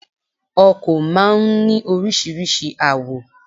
Ọkò máa n ní oríṣiríṣi àwò